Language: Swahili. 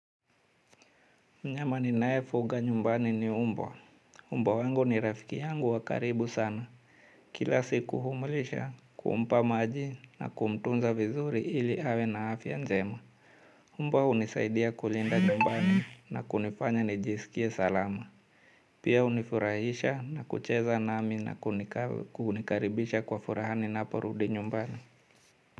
Nyama ninaye fuga nyumbani ni umbwa. Umbwa wangu ni rafiki yangu wa karibu sana. Kila siku kumlisha, kumpa maji na kumtunza vizuri ili awe na afya njema. Umbwa hunisaidia kulinda nyumbani na kunifanya nijisikie salama. Pia unifurahisha na kucheza nami na kunikaribisha kwa furaha ninaporudi nyumbani.